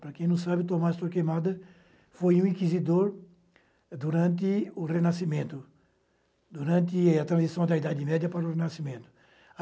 Para quem não sabe, o Tomás Torquemada foi um inquisidor durante o Renascimento, durante a transição da Idade Média para o Renascimento.